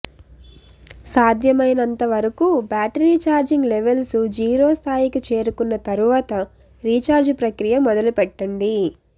సాధ్యమైనంత వరకు battery charging levels zero స్థాయికి చేరుకున్న తరువాత రీచార్జ్ ప్రకియ మొదలుపెట్టండి